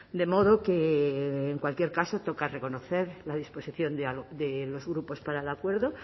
de modo que en cualquier caso toca reconocer la disposición de los grupos para el acuerdo